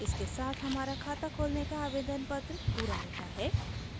इसके साथ हमारा खाता खोलने का आवेदन पत्र पूरा होता है